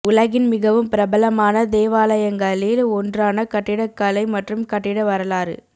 உலகின் மிகவும் பிரபலமான தேவாலயங்களில் ஒன்றான கட்டிடக்கலை மற்றும் கட்டிட வரலாறு